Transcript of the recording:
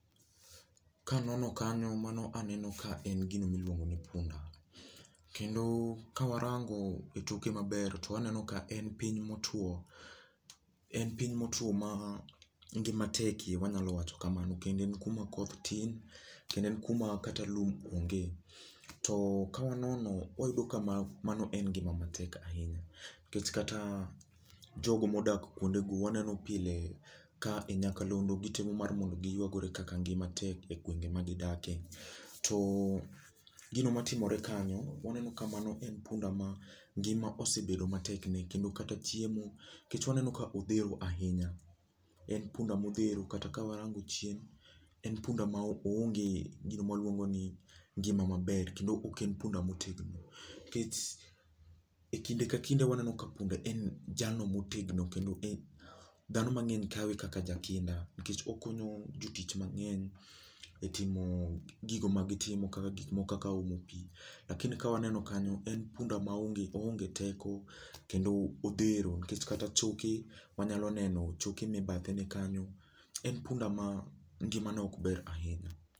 Kanono kanyo mano aneno ka en gino miluongo ni punda. Kendo, kawarango e toke maber to waneno ka en piny motwo, en piny motwo ma, ngima tekie wanyalo wacho kamano kendo en kuma koth tin, kendo en kuma kata lum onge. To, kawanono wayudo ka ma mano en ngima matek ahinya. Nikech kata, jogo modak kwondego waneno pile ka e nyakalondo gitemo mar mondo giywagore kaka ngima tek e gwenge ma gidake. To, gino matimore kanyo, waneno ka mano en punda ma ngima osebedo matek ne kendo kata chiemo, nikech waneno ka odhero ahinya. En punda modhero, kata kawarango chien, en punda ma oonge gino mwaluongo ni ngima maber kendo ok en punda motegno nikech , e kinde ka kinde waneno ka punda en jalno motegno kendo dhano mang'eny kawe kaka jakinda nikech okonyo jotich mang'eny, e timo gigo ma gitimo kaka gik moko kaka omo pii, lakini kawaneno kanyo en punda ma onge oonge teko, kendo o odhero nikech kata choke, wanyalo neno choke me bathene kanyo. En punda ma, ngimae ok ber ahinya